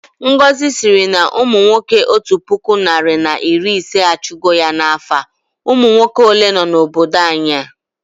Ngọzi sịrị na umunwoke otu puku narị na iri ise achụ go ya na afọ a, umunwoke ole nọ na obodo anyị a?